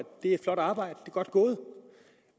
det er et flot arbejde og godt gået